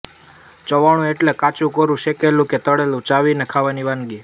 ચવાણું એટલે કાચુંકોરૂં શેકેલું કે તળેલું ચાવીને ખાવાની વાનગી